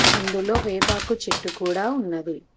అందులో వేపాకు చెట్టు కూడా ఉంది.